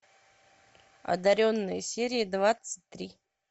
одаренные серия двадцать три